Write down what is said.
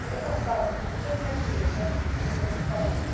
Meio afastado, assim, deixa ele ganhar dinheiro, vai, financeiramente falando, né?